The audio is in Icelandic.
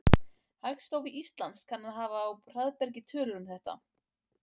Hagstofa Íslands kann að hafa á hraðbergi tölur um þetta.